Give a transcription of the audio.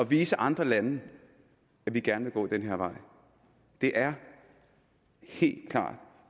vise andre lande at vi gerne vil gå den her vej det er helt klart